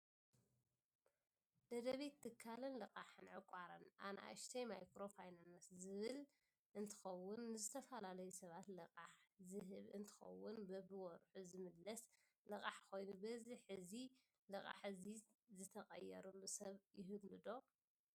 ደደቢት ትካልን ልቃሕን ዕቋርን ኣ/ማ ዝብል እንትከውን ንዝተፈላለዩ ሳባት ልቃሕ ዝህብ እንትከውን በብወርሑ ዝምለስ ልቃሕ ኮይኑ በዚ እዚ ልቃሕ እዚ ዝትቀየረሉ ሰብ ይህልው ዶ?